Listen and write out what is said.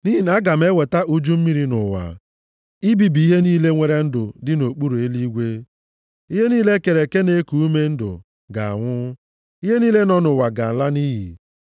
Nʼihi na aga m eweta uju mmiri nʼụwa, ibibi ihe niile nwere ndụ dị nʼokpuru eluigwe. Ihe niile e kere eke na-eku ume ndụ ga-anwụ. Ihe niile nọ nʼụwa ga-ala nʼiyi.